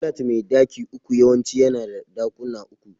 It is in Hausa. Flat mai daki uku yawanci yana da ɗakuna uku.